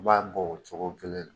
I b'a bɔ o cogo kelen na